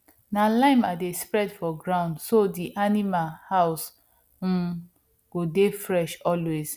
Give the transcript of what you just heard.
na lime i dey spread for ground so di animal house um go dey fresh always